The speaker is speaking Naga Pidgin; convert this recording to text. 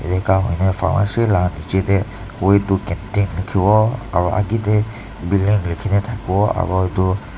enka pharmacy laga nicche teh way to canteen likhibo aru aage teh building likhine thaki bo aru etu--